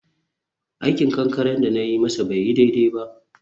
aikin kankare da na yi masa bai yi daidai ba.